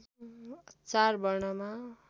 चार वर्णमा